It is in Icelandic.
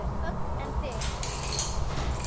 Hödd: En þig?